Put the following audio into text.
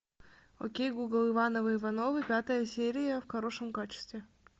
окей гугл ивановы ивановы пятая серия в хорошем качестве